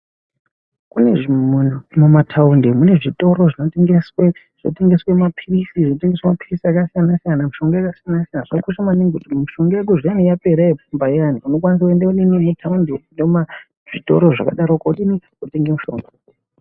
Kune mataundi kunezvitoro zvinotengeswa muparisi. Zvinotengeswa mapirisi akasiyana-siyana, mushonga yakasiyana-siyana. Zvinokosha maningi kuti mushonga zviani wapera yekumba iyani unokwanisa kuenda mutaundi muzvitoro zvakadaroko wotenga mushonga.